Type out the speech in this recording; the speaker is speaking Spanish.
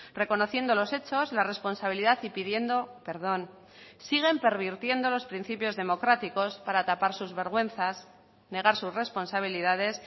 reconociendo los hechos la responsabilidad y pidiendo perdón siguen pervirtiendo los principios democráticos para tapar sus vergüenzas negar sus responsabilidades